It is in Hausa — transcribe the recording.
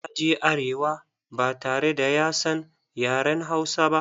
Ya je arewa ba tare da ya san yaren Hausa ba.